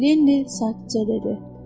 Lenni sakitcə dedi: